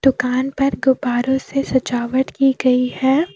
दुकान पर गुब्बारो से सजावट की गई है।